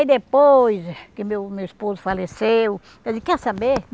depois que meu meu esposo faleceu, eu disse, quer saber?